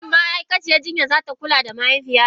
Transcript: Shin ma'aikaciyar jinya za ta kula da mahaifiyata?